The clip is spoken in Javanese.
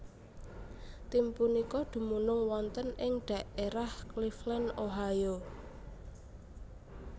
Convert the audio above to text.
Tim punika dumunung wonten ing dhaérah Cleveland Ohio